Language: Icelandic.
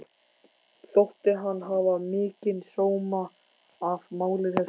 Þótti hann hafa mikinn sóma af máli þessu öllu.